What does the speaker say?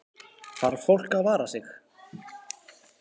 Þarf fólk að vara sig?